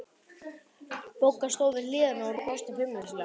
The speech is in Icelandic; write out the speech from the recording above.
Bogga stóð við hlið hennar og brosti feimnislega.